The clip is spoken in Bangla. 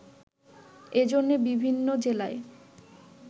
এজন্যে বিভিন্ন জেলায়